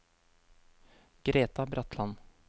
Greta Bratland